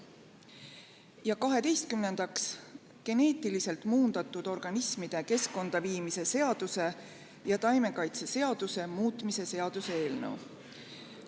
Ja kaheteistkümnendaks, geneetiliselt muundatud organismide keskkonda viimise seaduse ja taimekaitseseaduse muutmise seaduse eelnõu.